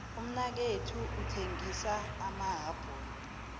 umnakethu uthengisa amahapula